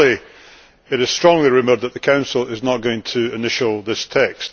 Firstly, it is strongly rumoured that the Council is not going to initial this text.